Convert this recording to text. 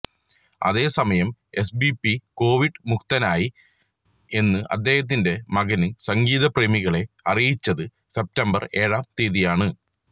അതേസമയം എസ്പിബി കൊവിഡ് മുക്തനായി എന്ന് അദേഹത്തിന്റെ മകന് സംഗീതപ്രേമികളെ അറിയിച്ചത് സെപ്റ്റംബര് ഏഴാം തീയതിയാണ്